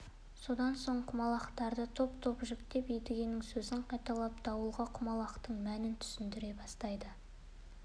содан соң құмалақтарды топ топқа жіктеп едігенің сөзін қайталап дауылға құмалақтың мәнін түсіндіре бастайды